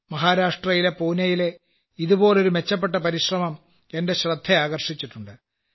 മഹാരാഷ്ട്രയിലെ പൂനയിലെ ഇതുപോലൊരു മെച്ചപ്പെട്ട പരിശ്രമം എന്റെ ശ്രദ്ധയാകർഷിച്ചിട്ടുണ്ട്